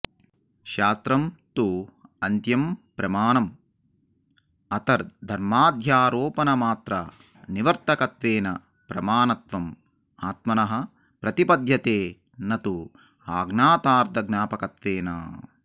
शास्त्रं तु अन्त्यं प्रमाणम् अतद्धर्माध्यारोपणमात्रनिवर्तकत्वेन प्रमाणत्वम् आत्मनः प्रतिपद्यते न तु अज्ञातार्थज्ञापकत्वेन